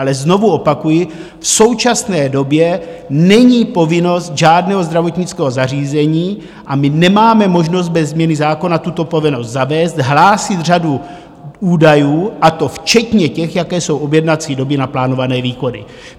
Ale znovu opakuji, v současné době není povinnost žádného zdravotnického zařízení, a my nemáme možnost bez změny zákona tuto povinnost zavést, hlásit řadu údajů, a to včetně těch, jaké jsou objednací doby na plánované výkony.